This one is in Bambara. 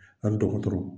An ni dɔgɔtɔrɔ